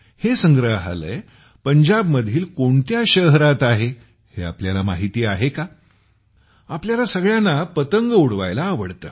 हे संग्रहालय पंजाबमधील कोणत्या शहरात आहे हे तुम्हाला माहिती आहे का तुम्हाला सगळ्यांना पतंग उडवायला आवडते